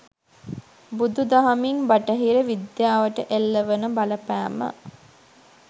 බුදු දහමින් බටහිර විද්‍යාවට එල්ල වන බලපෑම